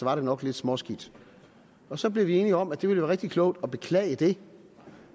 var det nok lidt småskidt så blev vi enige om at det ville være rigtig klogt at beklage det